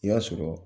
I y'a sɔrɔ